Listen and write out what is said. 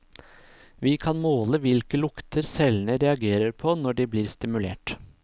Vi kan måle hvilke lukter cellene reagerer på når de blir stimulert.